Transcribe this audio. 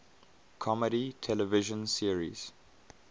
comedy television series